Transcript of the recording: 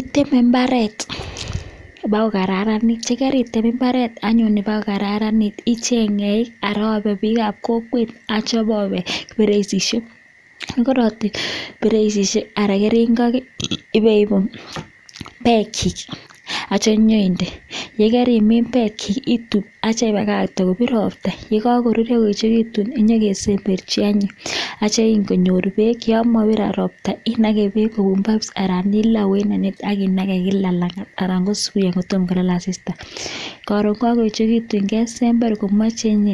Itemee mbareet pa kokararan ak icheng eeeik kopatis ak iipuu peeek neikol akinagee peeek kila langat karon kesember ako chekakokonyaaa kealnda